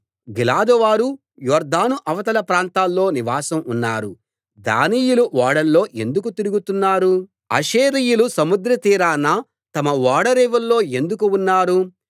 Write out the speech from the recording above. గిలాదువారు Jordan అవతల ప్రాంతాల్లో నివాసం ఉన్నారు దానీయులు ఓడల్లో ఎందుకు తిరుగుతున్నారు ఆషేరీయులు సముద్రతీరాన తమ ఓడరేవుల్లో ఎందుకు ఉన్నారు